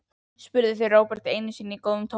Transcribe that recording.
spurðu þau Róbert einu sinni í góðu tómi.